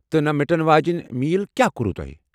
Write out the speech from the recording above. تہٕ نہٕ مِٹن واجِنہِ میٖلہ کیٛاہ کوٚروٕ تۄہہ ؟